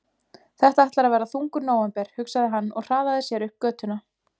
Þetta ætlar að verða þungur nóvember, hugsaði hann og hraðaði sér upp götuna.